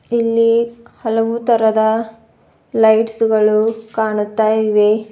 ಇಲ್ಲಿ ಹಲವು ತರದ ಲೈಟ್ಸ್ ಗಳು ಕಾಣುತ್ತಾ ಇವೆ.